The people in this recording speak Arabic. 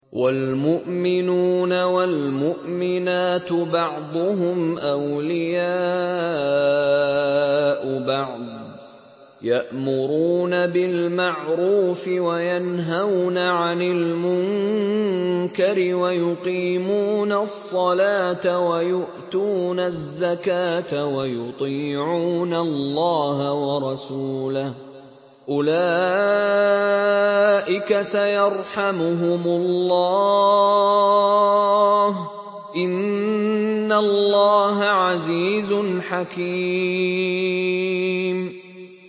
وَالْمُؤْمِنُونَ وَالْمُؤْمِنَاتُ بَعْضُهُمْ أَوْلِيَاءُ بَعْضٍ ۚ يَأْمُرُونَ بِالْمَعْرُوفِ وَيَنْهَوْنَ عَنِ الْمُنكَرِ وَيُقِيمُونَ الصَّلَاةَ وَيُؤْتُونَ الزَّكَاةَ وَيُطِيعُونَ اللَّهَ وَرَسُولَهُ ۚ أُولَٰئِكَ سَيَرْحَمُهُمُ اللَّهُ ۗ إِنَّ اللَّهَ عَزِيزٌ حَكِيمٌ